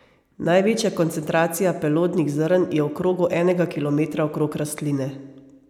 Največja koncentracija pelodnih zrn je v krogu enega kilometra okrog rastline.